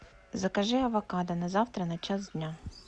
закажи авокадо на завтра на час дня